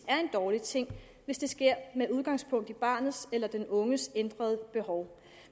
er en dårlig ting hvis det sker med udgangspunkt i barnets eller den unges ændrede behov